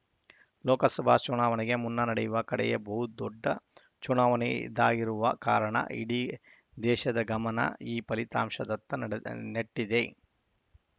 ಲೋಕಸಭಾ ಚುನಾವಣೆಗೆ ಮುನ್ನ ನಡೆಯುವ ಕಡೆಯ ಬಹುದೊಡ್ಡ ಚುನಾವಣೆ ಇದಾಗಿರುವ ಕಾರಣ ಇಡೀ ದೇಶದ ಗಮನ ಈ ಫಲಿತಾಂಶದತ್ತ ನಡೆದ್ ನೆಟ್ಟಿದೆ